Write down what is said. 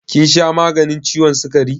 Kin sha maganin ciwon sukari?